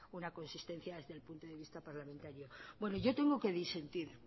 una consistencia desde el punto de vista parlamentario bueno yo tengo que disentir